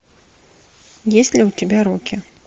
есть ли у тебя рокки